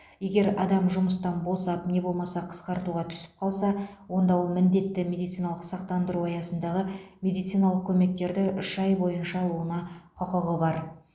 егер адам жұмыстан босап не болмаса қысқартуға түсіп қалса онда ол міндетті медициналық сақтандыру аясындағы медициналық көмектерді үш ай бойынша алуына құқығы бар